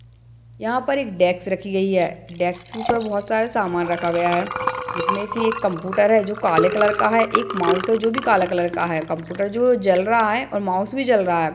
यहां पर एक डेक्स रखी गई है | डेक्स के ऊपर बोहोत सारा सामान रखा गया है | जिसमें से एक कंप्यूटर है जो कि काले कलर का है |एक माउस जो भी काला कलर का है कंप्यूटर जो है वो जल रहा है और माउस भी जल रहा है।